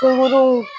Kunkolo